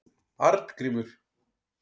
Arngrímur